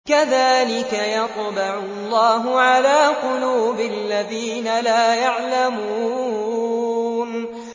كَذَٰلِكَ يَطْبَعُ اللَّهُ عَلَىٰ قُلُوبِ الَّذِينَ لَا يَعْلَمُونَ